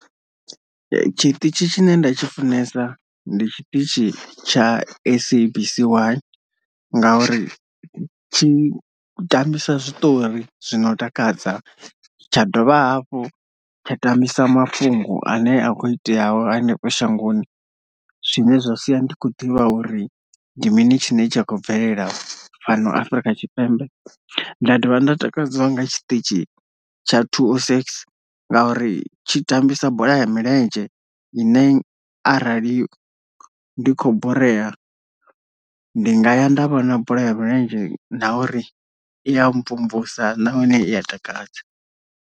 Tshiṱitzhi tshi ne nda tshi funesa ndi tshiṱitshi tsha SABC 1 nga uri tshi tambisa zwiṱori zwino takadza tsha dovha hafhu tsha tambisa mafhungo ane a kho iteaho hanefho shangoni zwine zwa sia ndi kho ḓivha uri ndi mini tshine tshi a khou bvelela fhano Afrika Tshipembe, nda ḓovha nda takadzwa nga tshiṱitshini tsha ṱuwa two o six ngauri tshi tambisa bola ya milenzhe ine arali ndi kho boreya ndi nga ya nda vhona bola ya milenzhe na uri i ya mvumvusa nahone iya takadza.